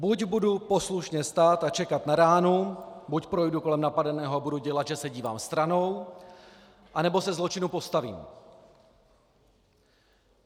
Buď budu poslušně stát a čekat na ránu, buď projdu kolem napadeného a budu dělat, že se dívám stranou, anebo se zločinu postavím.